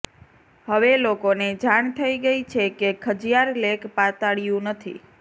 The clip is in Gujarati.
હવે લોકોને જાણ થઈ છે કે ખજિયાર લેક પાતાળિયું નથી